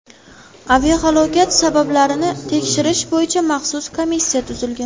Aviahalokat sabablarini tekshirish bo‘yicha maxsus komissiya tuzilgan.